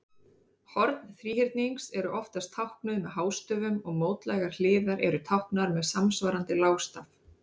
Horn þríhyrnings eru oftast táknuð með hástöfum og mótlægar hliðar eru táknaðar með samsvarandi lágstaf.